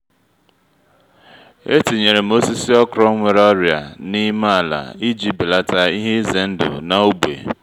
etinyerem osisi okro nwere ọrịa na-ime ala iji belata ihe ize ndụ na-ógbè